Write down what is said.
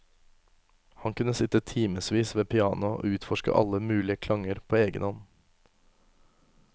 Han kunne sitte timevis ved pianoet og utforske alle mulige klanger på egen hånd.